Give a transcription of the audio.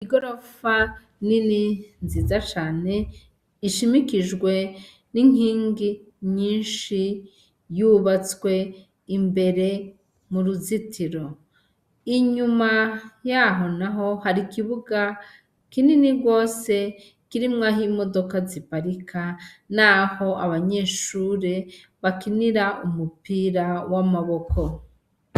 Igorofa nini nziza cane ishimikijwe n'inkingi nyinshi, yubatswe imbere muruzitiro, inyuma yaho naho har'ikibuga kinini gose kirimwo ah'imodoka ziparika naho abanyeshure bakinira umupira w'amaboko.